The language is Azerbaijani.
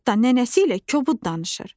Hətta nənəsi ilə kobud danışır.